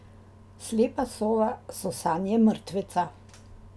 Slepa sova so sanje mrtveca.